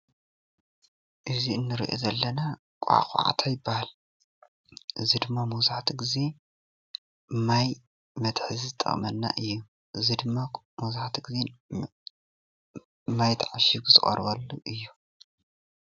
እዚ እንሪኦ ዘለና ኳዕኳዕታ ይባሃል፡፡ እዚ ድማ ማብዛሕትኡ ግዜ ማይ መትሓዚ ዝጠቅመና እዩ፡፡ እዚ ድማ መብዛሕትኡ ግዜ ማይ ተዓሽጉ ዝቀርበሉ እዩ፡፡